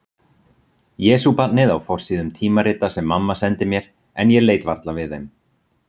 Jesúbarnið á forsíðum tímarita sem mamma sendi mér en ég leit varla við þeim.